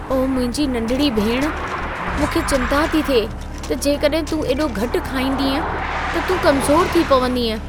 ओ मुंहिंजी नंढिड़ी भेण, मूंखे चिंता थी थिए त जेकॾहिं तूं एॾो घटि खाईंदीअं त तूं कमज़ोरु थी पवंदीअं।